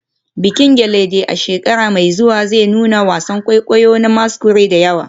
Bikin gelede a shekara mai zuwa zai nuna wasan kwaikwayo na masquerade da yawa.